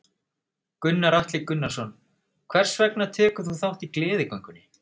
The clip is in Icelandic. Gunnar Atli Gunnarsson: Hvers vegna tekur þú þátt í Gleðigöngunni?